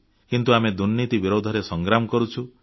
କିନ୍ତୁ ଆମେ ଦୁର୍ନୀତି ବିରୁଦ୍ଧରେ ସଂଗ୍ରାମ କରୁଛୁ